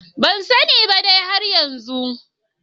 Bansane ba dai har yanzu.